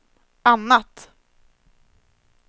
annat